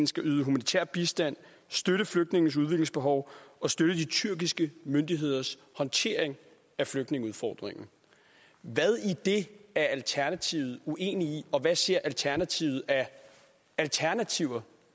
skal yde humanitær bistand støtte flygtningenes udviklingsbehov og støtte de tyrkiske myndigheders håndtering af flygtningeudfordringen hvad i det er alternativet uenig i og hvad ser alternativet af alternativer